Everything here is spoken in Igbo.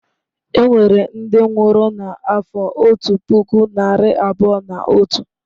Enwere ndị nwụrụ n'afọ otu puku narị abụọ na otu.